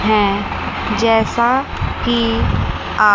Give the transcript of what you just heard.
हैं जैसा कि आ--